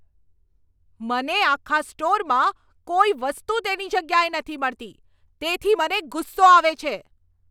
મને આખા સ્ટોરમાં કોઈ વસ્તુ તેની જગ્યાએ નથી મળતી, તેથી મને ગુસ્સો આવે છે.